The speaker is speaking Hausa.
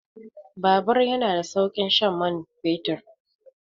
Bubur yana da saukin shan mai fetur.